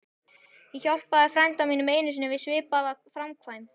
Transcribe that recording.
Ég hjálpaði frænda mínum einu sinni við svipaða framkvæmd.